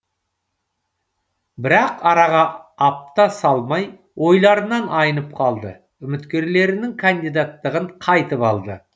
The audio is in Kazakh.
бірақ араға апта салмай ойларынан айнып қалды үміткерлерінің кандидаттығын қайтып алды